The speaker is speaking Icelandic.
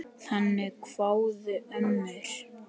Þannig kváðu ömmur.